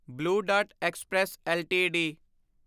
blue Dart Express LTD